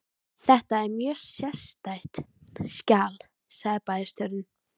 Þetta er mjög sérstætt skjal sagði bæjarstjórinn.